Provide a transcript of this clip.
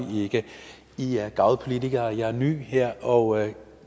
ikke i er garvede politikere mens jeg er ny her og